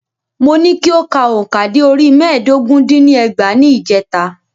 Mo ní kí o ka òǹkà dé orí mẹ́ẹ̀dógún dín ní ẹgbàá ní ìjèta.